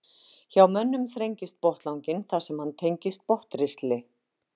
Hjá mönnum þrengist botnlanginn þar sem hann tengist botnristli.